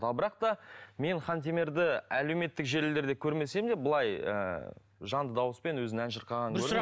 ал бірақ та мен хантемірді әлеуметтік желілерде көрмесем де бұлай ыыы жанды дауыспен өзінің ән шырқағанын көрдім